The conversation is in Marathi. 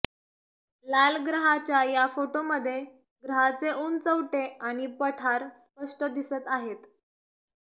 लाल ग्रहाच्या या फोटोमध्ये ग्रहाचे उंचवटे आणि पठार स्पष्ट दिसत आहेत